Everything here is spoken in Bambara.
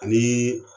Ani